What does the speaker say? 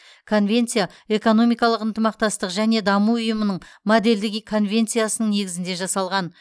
конвенция экономикалық ынтымақтастық және даму ұйымының модельдік и конвенциясының негізінде жасалған